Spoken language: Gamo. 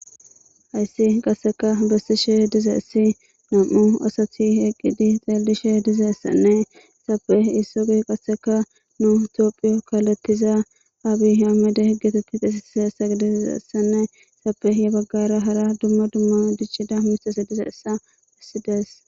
Hayssi qasseka besishe diizays nam'u asati eqqidi xellishe dizayssanne izappe isozi qasseka nu tophphiya kallethiza abby ahimede geteti xeyssatizayssane izappe gedde baggara hara dumma dumma miththati diccidi dizayssa beses.